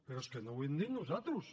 però és que no ho hem dit nosaltres